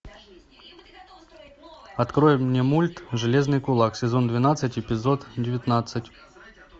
открой мне мульт железный кулак сезон двенадцать эпизод девятнадцать